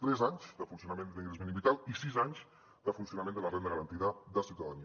tres anys de funcionament de l’ingrés mínim vital i sis anys de funcionament de la renda garantida de ciutadania